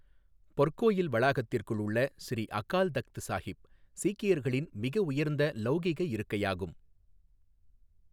பொற்கோயில் வளாகத்திற்குள் உள்ள ஸ்ரீ அகால் தக்த் ஸாஹிப், சீக்கியர்களின் மிக உயர்ந்த லௌகிக இருக்கையாகும்.